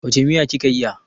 Wace miya ki ka iya?